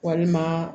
Walima